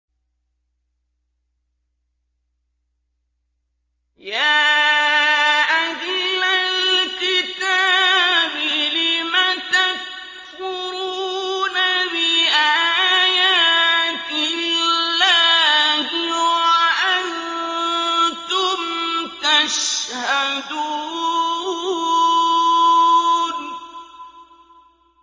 يَا أَهْلَ الْكِتَابِ لِمَ تَكْفُرُونَ بِآيَاتِ اللَّهِ وَأَنتُمْ تَشْهَدُونَ